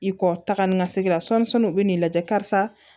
I kɔ taga ni ka segin la sɔmin u bɛ n'i lajɛ karisa